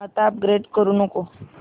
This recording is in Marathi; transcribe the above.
आता अपग्रेड करू नको